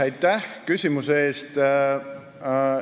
Aitäh küsimuse eest!